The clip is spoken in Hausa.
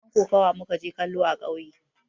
Wasan kokawa mu ka je kallo a kauye